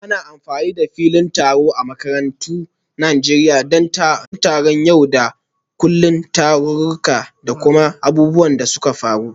Ana amfani da filin taro a makarantun Najeriya don taron yau da kullun, taruka, da kuma abubuwan da suka faru.